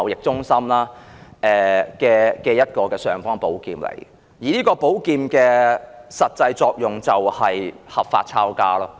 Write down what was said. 這是一把"尚方寶劍"，實際的作用便是合法"抄家"。